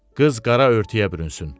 Qız qara örtüyə bürünsün.